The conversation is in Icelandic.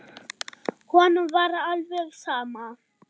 Honum var alveg sama.